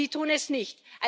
Sie tun es nicht!